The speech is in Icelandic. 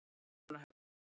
Kaupmannahöfn